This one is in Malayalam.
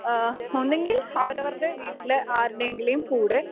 ആഹ് ഒന്നെങ്കിൽ അവരവരുടെ വീട്ടിലെ ആരുടെയെങ്കിലും കൂടെ